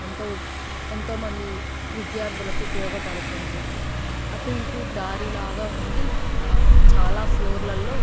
ఎంతో ఎంతో మంది విద్యార్థులకు ఉపయోగపడుతుంది. అటు ఇటు దారి లాగా ఉండి ఆ చాలా ఫ్లోర్ లలో --